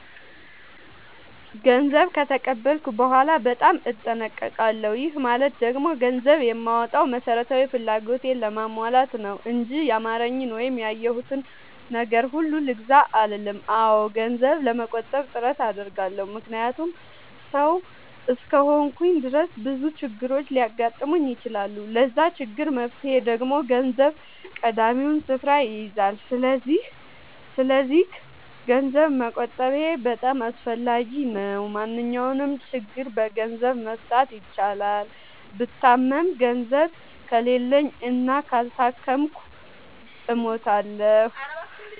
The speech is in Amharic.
ገንዘብ ከተቀበልኩ በኋላ በጣም እጠነቀቃለሁ። ይህ ማለት ደግሞ ገንዘብ የማወጣው መሠረታዊ ፍላጎቴን ለማሟላት ነው እንጂ ያማረኝን ወይም ያየሁትን ነገር ሁሉ ልግዛ አልልም። አዎ ገንዘብ ለመቆጠብ ጥረት አደርጋለሁ። ምክንያቱም ሠው እስከሆንኩኝ ድረስ ብዙ ችግሮች ሊያጋጥሙኝ ይችላሉ። ለዛ ችግር መፍትሄ ደግሞ ገንዘብ ቀዳሚውን ስፍራ ይይዛል። ሰስለዚክ ገንዘብ መቆጠቤ በጣም አስፈላጊ ነው። ማንኛውንም ችግር በገንዘብ መፍታት ይቻላል። ብታመም ገንዘብ ከሌለኝ እና ካልታከምኩ እሞታሁ።